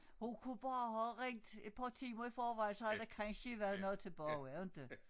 Hun kunne bare have ringet et par timer i forvejen så havde der kansje været nogt tilbage inte